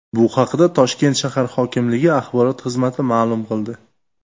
Bu haqda Toshkent shahar hokimligi axborot xizmati ma’lum qildi .